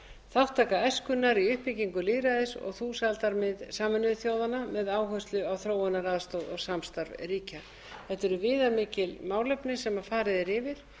þátttaka æskunnar í uppbyggingu lýðræðis og þúsaldar mið sameinuðu þjóðanna með áherslu á þróunaraðstoð og samstarf ríkja þetta eru viðamikil efni sem farið r yfir